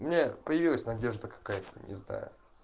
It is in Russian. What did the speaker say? у меня появилась надежда какая-то не знаю